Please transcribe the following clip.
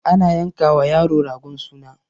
ana yanka wa yaro ragon suna